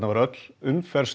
var öll umferð